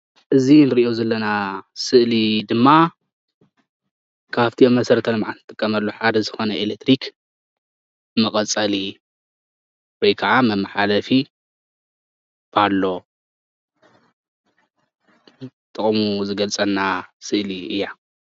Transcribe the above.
እዚ ንርእዮ ዘለና ስእሊ ድማ ካብቲ ኣብ መሰረተ ልምዓት ንጥቀመሉ ሓደ ዝኾነ ኤለክትሪክ መቐፀሊ ወይ ካዓ መማሓላለፊ ፓሎ ጥቕሙ ዝገልፀልና ስእሊ እያ።